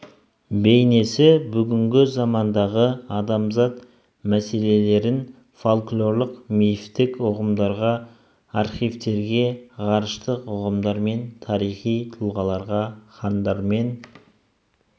бейнесі бүгінгі замандағы адамзат мәселелерін фольклорлық-мифтік ұғымдарға архетивтерге ғарыштық ұғымдар мен тарихи тұлғаларға хандар мен